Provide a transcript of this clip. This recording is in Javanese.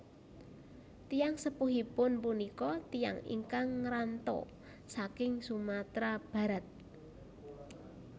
Tiyang sepuhipun punika tiyang ingkang ngranto saking Sumatera Barat